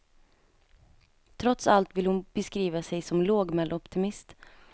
Trots allt vill hon beskriva sig som lågmäld optimist.